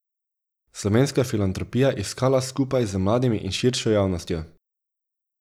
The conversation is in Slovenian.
Slovenska filantropija iskala skupaj z mladimi in širšo javnostjo.